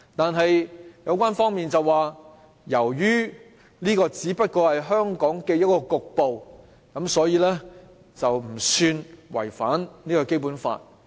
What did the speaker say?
然而，有關方面表示，由於這個只不過是香港一個局部地段，所以，並不算違反《基本法》。